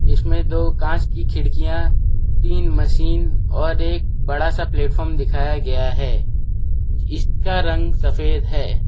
इसमें दो कांच की खिड़कियां तीन मशीन और एक बड़ा सा प्लेटफार्म दिखाए गया है इसका रंग सफेद है।